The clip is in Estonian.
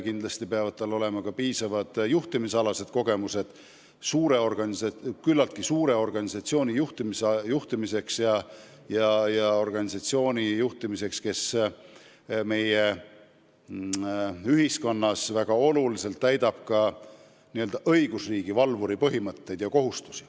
Kindlasti peavad tal olema ka piisavad juhtimisalased kogemused, sest tegu on küllaltki suure organisatsiooniga, mis meie ühiskonnas täidab suurel määral n-ö õigusriigi valvuri kohustusi.